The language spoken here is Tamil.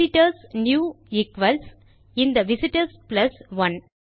visit ஒர்ஸ் நியூ ஈக்வல்ஸ் இந்த விஸ்டோர்ஸ் பிளஸ் 1